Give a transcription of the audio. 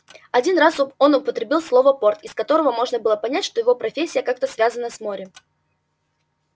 один раз он употребил слово порт из которого можно было понять что его профессия как-то связана с морем